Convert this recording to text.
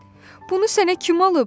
"Bunu sənə kim alıb?"